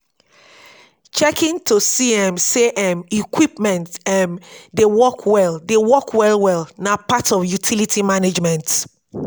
checkin to see um say um equipments um dey work well dey work well well be part of utility management